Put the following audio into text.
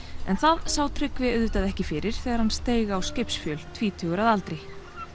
en það sá Tryggvi auðvitað ekki fyrir þegar hann steig á skipsfjöl tvítugur að aldri